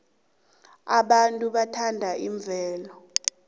abantu bathanda imvelo